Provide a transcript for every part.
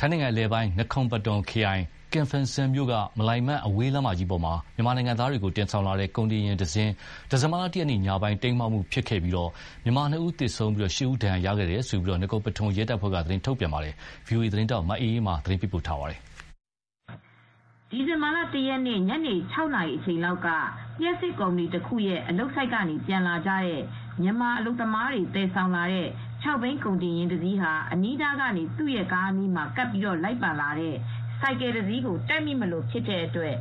ထိုင်းနိုင်ငံအလယ်ပိုင်း နကော် ပထုန် (Nakhon Pathom) ခရိုင် ကမ်ဖင်စန်မြို့က မလိုင်မန် အဝေးလမ်းမကြီးပေါ်မှာ မြန်မာနိုင်ငံသားတွေကိုတင်လာတဲ့ ကုန်တင်ယာဉ်ဟာ ဒီဇင်ဘာလ ၁ ရက်နေ့ညပိုင်းက တိမ်းမှောက်ခဲ့ရာမှာ နှစ်ဦးသေဆုံးပြီး ဒဏ်ရာရသူ ၈ ဦးရှိခဲ့တယ်လို့ နကော်ပထုန်ရဲတပ်ဖွဲ့ကသတင်းထုတ်ပြန်ခဲ့ပါတယ်။ ဒီသတင်းကို ဗွီအိုအေသတင်းထောက် မအေးအေးမာက သတင်းပေးပို့ထားပါတယ်။ ဒီဇင်ဘာလ ၁ ရက်နေ့ ညနေခြောက်နာရီအချိန်လောက်က လျှပ်စစ်ကုမ္ပဏီတခုရဲ့အလုပ်ဆိုဒ်ကနေပြန်လာကြတဲ့ မြန်မာအလုပ်သမားတွေကို သယ်ဆောင်လာတဲ့ ခြောက်ဘီးကုန်တင်ယာဉ်တစီးဟာ အနီးကနေ သူရဲ့ကားနားမှာကပ်ပြီးလိုက်ပါလာတဲ့ဆိုင်ကယ်တစီးကို တိုက်မိမလိုဖြစ်တဲ့အတွက်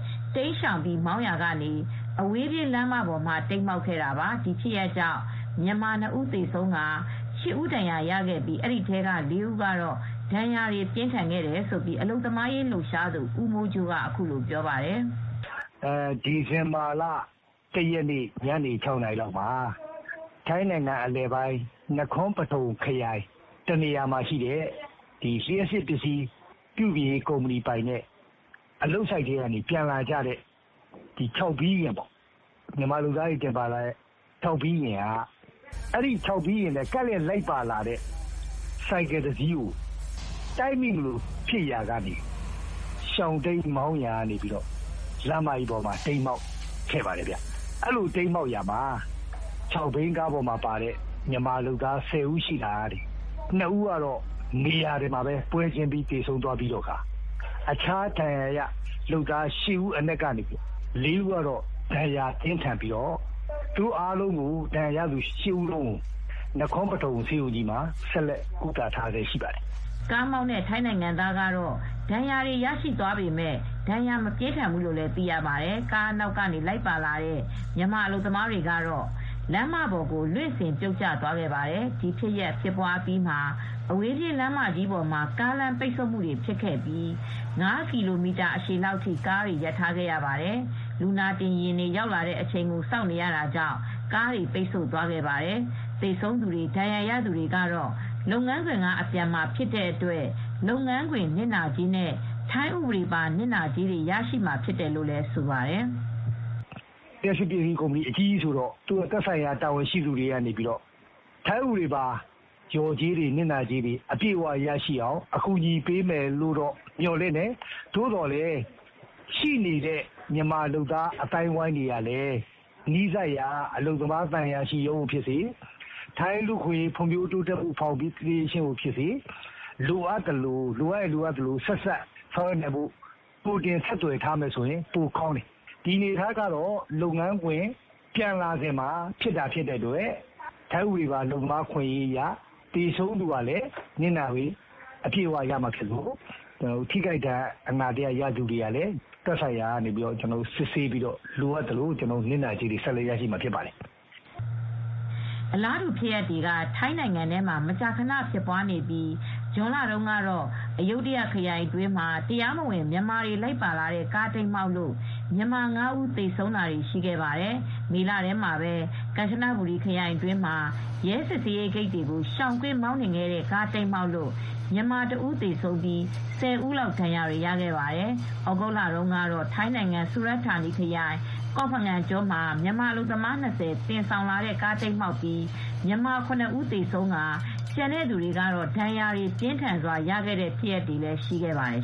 ရှောင်ပြီးမောင်းရာကနေ အဝေးပြေးလမ်းမပေါ်မှာ တိမ်းမှောက်ခဲ့တာပါ။ ဒီဖြစ်ရပ်ကြောင့် မြန်မာ ၂ ဦးသေဆုံး၊ ၈ ဦးဒဏ်ရာရခဲ့တဲ့အထဲ ၄ ဦးက ဒဏ်ရာပြင်းထန်ခဲ့တယ်လို့ အလုပ်သမားရေးလှုပ်ရှားသူ ဦးမိုးကြိုးက အခုလိုပြောပါတယ်။ “ဒီဇင်ဘာလ ၁ ရက်နေ့ ညနေ ၆ နာရီလောက်မှာ ထိုင်းနိုင်ငံအလယ်ပိုင်း နကွန်ပထုန်ခရိုင်တနေရာမှာရှိတဲ့ လျပ်စစ်ပစ္စည်းပြုပြင်ရေးကုမ္ပဏီပိုင်တဲ့ အလုပ်ဆိုဒ်ကနေပြန်လာကြတဲ့ မြန်မာအလုပ်သမားတွေ တင်လာတဲ့ ၆ ဘီးယာဉ်က အဲဒီ ၆ ဘီးယာဉ်နဲ့ ဘေးကလိုက်လာတဲ့ ဆိုင်ကယ်တစီးကို တိုက်မိမလိုဖြစ်လို့ ရှောင်တိမ်းမောင်းနှင်ရာကနေ လမ်းမကြီးပေါ်မှာ တိမ်းမှောက်ခဲ့ပါတယ်။ အဲဒီ ၆ ဘီးကားမှာ မြန်မာအလုပ်သမား ၁၀ ဦးပါရာကနေ ၂ ဦးကတော့ နေရာမှာပဲ ပွဲချင်းပြီးသေဆုံးသွားသလို အခြားဒဏ်ရာရ လုပ်သား ၈ ဦးကနေ ၄ ဦးကတော့ ဒဏ်ရာပြင်းထန်ပါတယ်။ အဲဒီ ၈ ဦးလုံးကိုတော့ နကွန်ပထုန်ဆေးရုံကြီးမှာ ဆက်ပြီး ကုသပေးနေပါတယ်။” ကားမောင်းသူ ထိုင်းနိုင်ငံသားက ဒဏ်ရာရသွားပေမယ့် မပြင်းထန်ဘူးလို့လည်း သိရပါတယ်။ ကားအနောက်ကလိုက်လာတဲ့ မြန်မာအလုပ်သမားတွေကတော့ လမ်းမပေါ်ကို လွင့်စင် ပြုတ်ကျသွားခဲ့ပါတယ်။ ဒီဖြစ်ရပ်အပြီးမှာ အဝေးပြေးလမ်းမကြီးပေါ် ယာဥ်ကြောပိတ်သွားခဲ့ပြီး ၅ ကီလိုမီတာအရှည်လောက်အထိ ကားတွေရပ်ထားခဲ့ရပါတယ်။ လူနာတင်ယာဉ်တွေ ရောက်လာတဲ့အချိန်ကို စောင့်နေရတာကြောင့် ကားတွေပိတ်ဆို့သွားခဲ့ပါတယ်။ လုပ်ငန်းခွင်ကအပြန်မှာဖြစ်တဲ့အတွက် သေဆုံးသူတွေနဲ့ ဒဏ်ရာရသူတွေအတွက် လုပ်ငန်းခွင်နစ်နာကြေးတွေနဲ့ ထိုင်းဥပဒေပါနစ်နာကြေးတွေရလိမ့်မယ်လို့လည်း ဆိုပါတယ်။ “လျှပ်စစ်ကုမ္ပဏီအကြီးကြီးဆိုတော့ သူတို့သက်ဆိုင်ရာတာဝန်ရှိသူတွေက ထိုင်းဥပဒေပါအခွင့်ရေးအတိုင်း လျော်ကြေးနဲ့ နစ်နာကြေးတွေပေးမယ်လို့တော့ မျှော်လင့်ပါတယ်။ မြန်မာအလုပ်သမားတွေကလည်း မြန်မာအလုပ်သမား သံအရာရှိရုံးကနေဖြစ်စေ၊ ထိုင်းလူ့အခွင့်အရေးတိုးတက်မှု ဖောင်ဒေးရှင်းကိုဖြစ်စေ လိုအပ်ရင် ဆက်စပ်ဆောင်ရွက်ထားမယ်ဆိုရင် ပိုကောင်းမယ်။ ဒီအနေအထားကတော့ လုပ်ငန်းခွင်ကနေ ပြန်လာစဉ်မှာ ဖြစ်ပွားတာဖြစ်တဲ့အတွက် ထိုင်းဥပဒေပါအလုပ်သမားအခွင့်အရေးအရ သေဆုံးသူကလည်း နစ်နာကြေးရမှာဖြစ်သလို ဒဏ်ရာရသူတွေကလည်း သက်ဆိုင်ရာကနေ စစ်ဆေးပြီးတော့ လိုအပ်သလို နစ်နာကြေးတွေရရှိမှာဖြစ်ပါတယ်။” အလားတူဖြစ်ရပ်တွေက ထိုင်းနိုင်ငံထဲမှာ မကြာခဏဖြစ်ပွားနေပြီး ဇွန်လထဲမှာတုန်းကတော့ အယုဒ္ဓယခရိုင်အတွင်းမှာ တရားမဝင်မြန်မာတွေ လိုက်ပါလာတဲ့ကားတိမ်းမှောက်လို့မြန်မာ ၅ ဦး သေဆုံးခဲ့ဖူးပါတယ်။ မေလထဲမှာပဲ ကမ်ချနဘူရီခရိုင်မှာ ရဲစစ်ဆေးရေးဂိတ်တွေကိုရှောင်ကွင်းမှောင်းနှင်တဲ့ကား တိမ်းမှောက်လို့မြန်မာတဦးသေဆုံးပြီး ၁၀ ဦးလောက် ဒဏ်ရာတွေရခဲ့ပါတယ်။ ဩဂုတ်လတုန်းကတော့ ထိုင်းနိုင်ငံစူရတ်ဌာနခရိုင် ကော့ဖငန်ကျွန်းမှာ မြန်မာအလုပ်သမား၂၀ တင်ဆောင်လာတဲ့ကားတိမ်းမှောက်ပြီး မြန်မာ ၇ ဦးသေဆုံးပြီး ကျန်တဲ့သူတွေက ဒဏ်ရာအပြင်းအထန်ရခဲ့တဲ့ ဖြစ်ရပ်တွေလည်းရှိခဲ့ပါတယ်